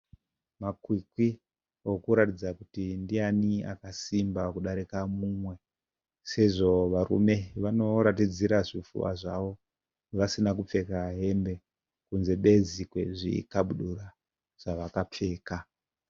Makwikwi okuratidza kuti ndiyani akasimba kudarika mumwe. Sezvo varume vanoratidzira zvipfuva zvavo vasina hembe kunze bedzi kwezvikabudura zvavakapfeka.